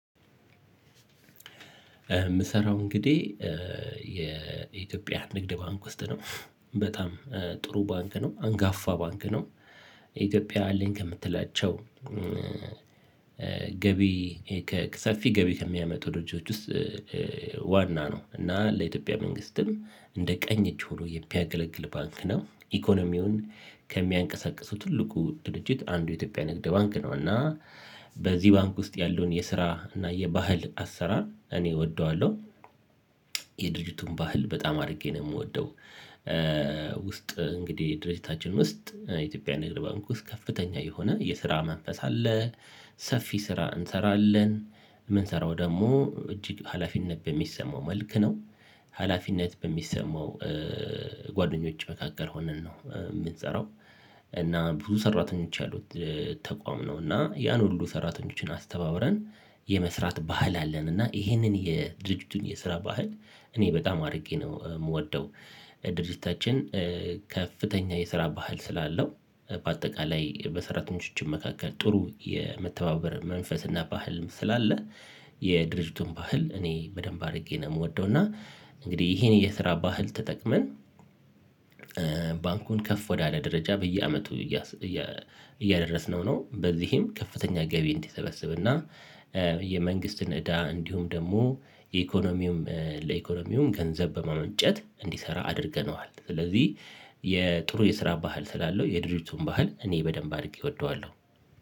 የምሰራው እንግዲህ የኢትዮጵያ ንግድ ባንክ ውስጥ ነው በጣም ጥሩ ባንክ ነው አንጋፋ ባንክ ነው። ኢትዮጵያ አለኝ ከምትላቸው ገቢ ከሰፊ ገቢ ከሚያመጡ ድርጅቶች ውስጥ። ዋና ነው እና ለኢትዮጵያ መንግስትም እንደ ቀኝ እጅ ሆኖ የሚያገለግል ባንክ ነው። ኢኮኖሚውን ከሚያንቀሳቅሱ ትልቁ ትልቅ አንዱ የኢትዮጵያ ንግድ ባንክ ነው። እና በዚህ ባንክ ውስጥ ያለውን የስራ እና የባህል አሰራር እኔ እወደዋለሁ። የድርጅቱን ባህል በጣም አድርጌ ነው የምወደው። ውስጥ እንግዲህ ድርጅታችን ውስጥ የኢትዮጵያ ንግድ ባንክ ውስጥ ከፍተኛ የሆነ የስራ መንፈስ አለ። ሰፊ ስራ እንሰራለን የምንሰራው ደግሞ እጅግ ሀላፊነት በሚሰማው መልክ ነው። ሀላፊነት በሚሰማው ጓደኞች መካከል ሆነን ነው የምትሰራው። እና ብዙ ሰራተኞች ያሉት ተቋም ነው። እና ያን ሁሉ ሰራተኞችን አስተባብረን የመስራት ባህል አለን። እና ይሄንን የድርጅቱን የስራ ባህል እኔ በጣም አድርጌ ነው የምወደው። ድርጅታችን ከፍተኛ የስራ ባህል ስላለው በአጠቃላይ በሰራተኞች መካከል ጥሩ የመተባበር መንፈስና ባህልም ስላለ። የድርጅቱን ባህል እኔ በደንብ አድርጌ ነው የምወደው። እና እንግዲህ ይሄን የስራ ባህል ተጠቅመን ባንኩን ከፍ ወዳለ ደረጃ በየአመቱ እያደረስነው ነው። በዚህም ከፍተኛ ገቢ እንዲሰበስብና የመንግስትን እዳ እንዲሁም ደግሞ የኢኮኖሚውም ለኢኮኖሚውም ገንዘብ በማመንጨት እንዲሰራ አድርገነዋል። ስለዚህ የጥሩ የስራ ባህል ስላለው የድሪቱን ባህል እኔ በደንብ አድርጌ እወደዋለሁ